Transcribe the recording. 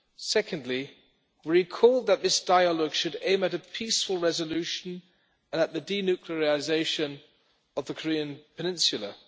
Secondly, we recalled that this dialogue should aim at a peaceful resolution and at the denuclearisation of the Korean Peninsula.